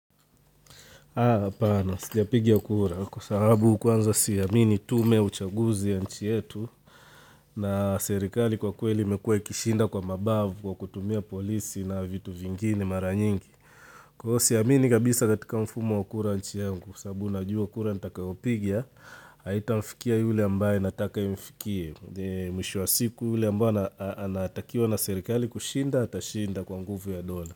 Aah, hapana, sijapiga kura kwa sababu kwanza siamini tume ya uchaguzi ya nchi yetu na serikali kwa kweli imekuwa ikishinda kwa mabavu kwa kutumia polisi na vitu vingine maranyingi. Kwa hivo siamini kabisa katika mfumo kura nchi yangu sababu najua kura nitakayopiga, haitamfikia yule ambaye nataka imfikie, mwisho wa siku yule ambaye anatakiwa na serikali kushinda atashinda kwa nguvu ya dola.